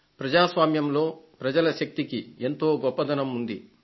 ప్రజాస్వామ్యంలో ప్రజల శక్తికి ఎంతో గొప్పదనం ఉంది